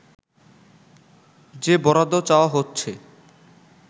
যে বরাদ্দ চাওয়া হচ্ছে